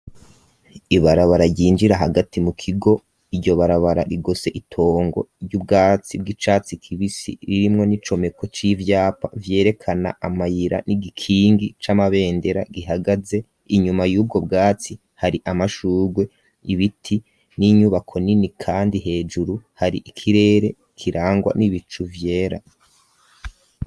Ibarabara ryinjira hagati mu kigo; iryo barabara rigose itongo ry'ubwatsi bw'icatsi kibisi ririmwo n'icomeko c'ivyapa vyerekana amayira; n'igikingi, c'amabendera, gihagaze; inyuma, y'ubwo bwatsi, hari amashurwe, ibiti, n'inyubako nini; kandi hejuru hari ikirere kirangwa n'ibicu vyera.